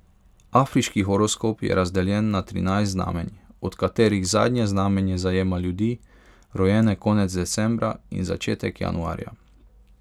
Afriški horoskop je razdeljen na trinajst znamenj, od katerih zadnje znamenje zajema ljudi, rojene konec decembra in začetek januarja.